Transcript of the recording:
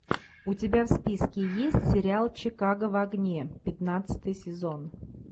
у тебя в списке есть сериал чикаго в огне пятнадцатый сезон